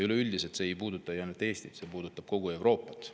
Üleüldiselt ei puuduta see ju ainult Eestit, vaid see puudutab kogu Euroopat.